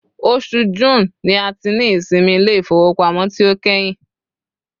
osù June ni a ti ni ìsinmi ilé ifowópamọ́ ti o kehin